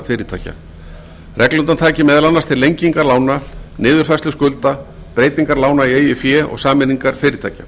fyrirtækja reglurnar taki meðal annars til lengingar lána niðurfærslu skulda breytingar lána í eigið fé og sameiningar fyrirtækja